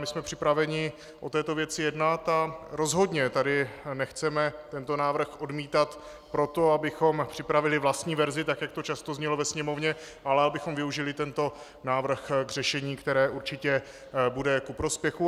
My jsme připraveni o této věci jednat a rozhodně tady nechceme tento návrh odmítat proto, abychom připravili vlastní verzi, tak jak to často znělo ve Sněmovně, ale abychom využili tento návrh k řešení, které určitě bude ku prospěchu.